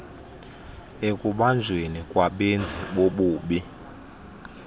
ekubanjweni kwabenzi bobubi